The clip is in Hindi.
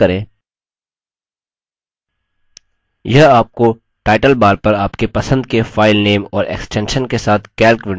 यह आपको टाइटल bar पर आपके पसंद के filename और extension के साथ calc window पर वापस लाता है